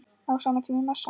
Á sama tíma er messa.